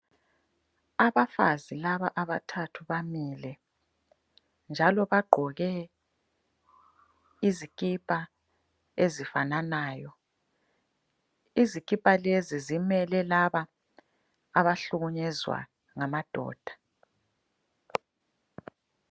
Abafazi laba abathathu bamile njalo bagqoke izikipa ezifananayo, izikipa lezi zimele laba abuhlukunyezwa ngamadoda.